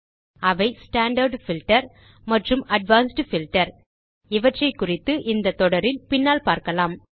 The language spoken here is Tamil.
அவை ஸ்டாண்டார்ட் பில்ட்டர் மற்றும் அட்வான்ஸ்ட் பில்ட்டர் இவற்றைக்குறித்து இந்த தொடரில் பின்னால் பார்க்கலாம்